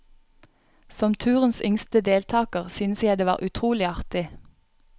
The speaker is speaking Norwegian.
Som turens yngste deltaker, syntes jeg det var utrolig artig.